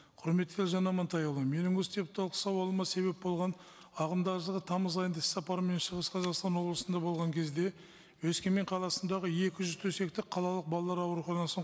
құрметті елжан амантайұлы менің осы депутаттық сауалыма себеп болған ағымдағы жылы тамыз айында іс сапармен шығыс қазақстан облысында болған кезде өскемен қаласындағы екі жүз төсектік қалалық балалар ауруханасының